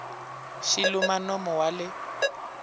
xi luma nomo wa le